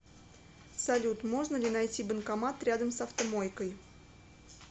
салют можно ли найти банкомат рядом с автомойкой